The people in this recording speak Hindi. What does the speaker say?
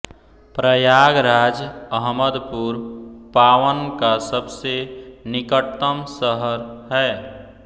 प्रयागराज अहमदपुर पावन का सबसे निकटतम शहर है